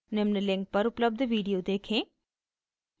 निम्न link पर उपलब्ध video देखें